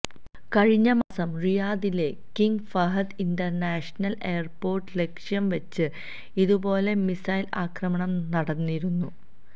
കഴിഞ്ഞ മാസം റിയാദിലെ കിംഗ് ഫഹദ് ഇന്റര്നാഷണല് എയര്പോര്ട്ട് ലക്ഷ്യം വച്ച് ഇതുപോലെ മിസൈല് ആക്രമണം നടന്നിരുന്നു